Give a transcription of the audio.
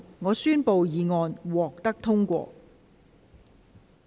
我宣布議案獲得通過。